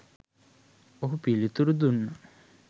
ඔහු පිළිතුරු දුන්නා